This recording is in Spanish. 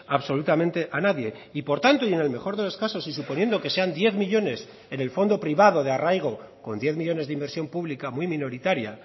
absolutamente a nadie y por tanto y en el mejor de los casos y suponiendo que sean diez millónes en el fondo privado de arraigo con diez millónes de inversión pública muy minoritaria